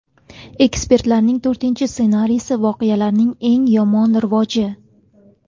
Ekspertlarning to‘rtinchi ssenariysi voqealarning eng yomon rivoji.